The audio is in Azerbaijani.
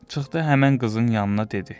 Çıxdı həmin qızın yanına dedi.